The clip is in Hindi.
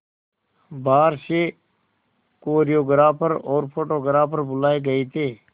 बाहर से कोरियोग्राफर और फोटोग्राफर बुलाए गए थे